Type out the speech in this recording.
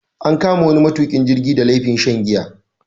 An kama wani matukin jirgi da laifin shan giya.